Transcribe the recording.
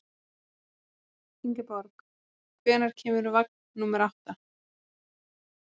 Ingeborg, hvenær kemur vagn númer átta?